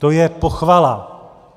To je pochvala.